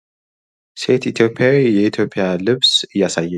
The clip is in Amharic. ሴት ኢትዮጵያዊ የኢትዮጵያን ልብስ እያሳየች የሚያሳይ ምስል ነው።